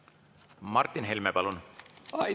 Martin Helme, palun!